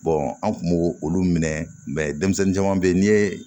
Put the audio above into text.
an kun b'o olu minɛ denmisɛnnin caman bɛ yen ni ye